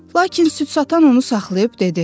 Lakin süd satan onu saxlayıb dedi: